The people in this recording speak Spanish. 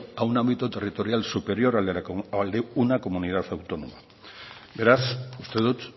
a un ámbito territorial superior al de una comunidad autónoma beraz uste dut